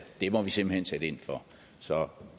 det må vi simpelt hen sætte ind for så